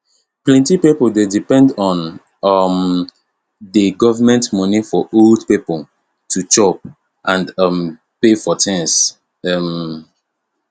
plenty pipo dey depend on um dat government money for old people to chop and um pay for tins um